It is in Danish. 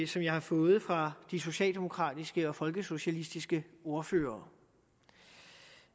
som jeg har fået fra de socialdemokratiske og folkesocialistiske ordførere